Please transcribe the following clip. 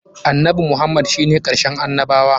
Annabi Muhammad shi ne karshen annabawa.